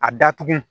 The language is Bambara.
A datugu